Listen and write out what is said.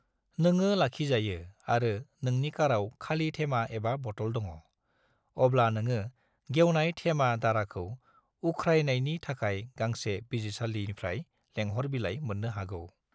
नोङो लाखिजायो आरो नोंनि काराव खालि थेमा एबा बतल दङ', अब्ला नोङो गेवनाय थेमा दाराखौ उख्रायनायनि थाखाय गांसे बिजिरसालिनिफ्राय लेंहर बिलाइ मोननो हागौ।